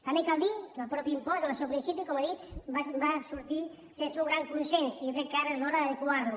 també cal dir que el mateix impost en el seu principi com he dit va sortir sense un gran consens i jo crec que ara és l’hora d’adequar lo